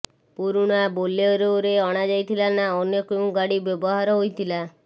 ପୁରୁଣା ବୋଲେରୋ ଅଣାଯାଇଥିଲା ନା ଅନ୍ୟ କେଉଁ ଗାଡ଼ି ବ୍ୟବହାର ହୋଇଥିଲା